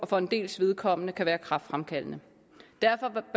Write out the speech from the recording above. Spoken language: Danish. for en dels vedkommende kan være kræftfremkaldende derfor